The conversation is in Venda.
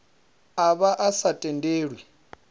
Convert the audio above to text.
a vha a sa tendelwi